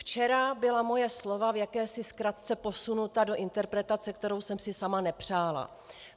Včera byla moje slova v jakési zkratce posunuta do interpretace, kterou jsem si sama nepřála.